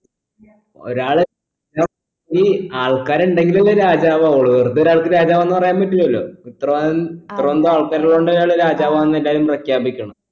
ഒരാൾ ഈ ആൾക്കാറുണ്ടെങ്കിലല്ലേ രാജാവാകുള്ളൂ വെറുതെ ഒരാൾക്ക് രാജാവാന്ന് പറയാൻ പറ്റില്ലാലോ ഉത്തരവൻ ഉത്തരവെന്താൾക്കാറുള്ളോണ്ട് ഞനൊരു രാജവാന്ന് എല്ലാരും പ്രഖ്യാപിക്കണം